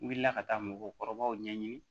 N wulila ka taa mɔgɔkɔrɔbaw ɲɛɲini